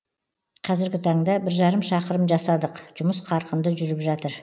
қазіргі таңда бір жарым шақырым жасадық жұмыс қарқынды жүріп жатыр